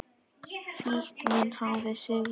Fíknin hafði sigrað.